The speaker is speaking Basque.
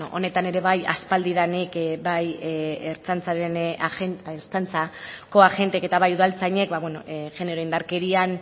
beno honetan ere bai aspaldidanik bai ertzaintzako agenteek eta bai udaltzainek genero indarkerian